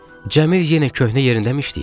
Cəmil yenə köhnə yerindəmi işləyir?